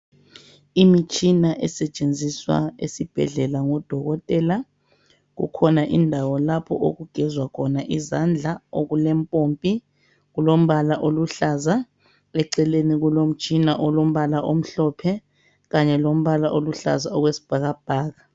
Emtshina esetshenziswa esibhedlela ngodokotela kukhona i ndawo lapho okugezwa khona izandla okulempompi, kulombala oluhlaza eceleni kulo mtshina olombala omhlophe kanye lombala oluhlaza okwesibhakabhaka.